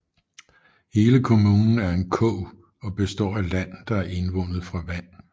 Hele kommunen er en kog og består af land der er indvundet fra vand